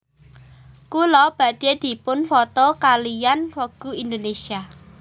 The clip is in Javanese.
Kula badhe dipun foto kaliyan Vogue Indonesia